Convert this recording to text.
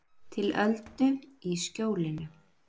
Til öldu í skjólinu